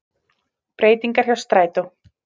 Breytingar hjá strætó